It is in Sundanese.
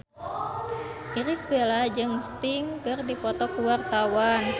Irish Bella jeung Sting keur dipoto ku wartawan